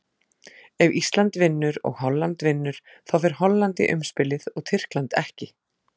Ef Ísland vinnur og Holland vinnur, þá fer Holland í umspilið og Tyrkland ekki.